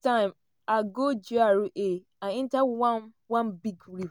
time i go gra i enta one one big riv